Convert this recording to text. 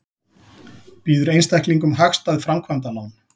Býður einstaklingum hagstæð framkvæmdalán